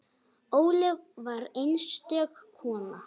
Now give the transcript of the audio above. Ólöf var einstök kona.